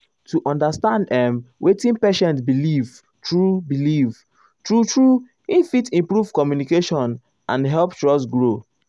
to understand ehm wetin patient believe true believe true true he fit improve communication and help trust grow.